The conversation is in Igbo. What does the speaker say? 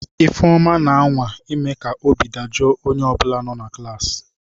Ifeoma, na-anwa ime ka obi dajụọ onye ọ bụla nọ na klaasị.